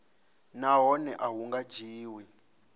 nahone a hu nga dzhiwi